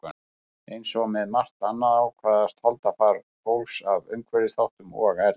Eins og með margt annað ákvarðast holdafar fólks af umhverfisþáttum og erfðum.